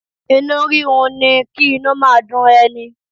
Inú rírun ni kí inú máa dun ẹni.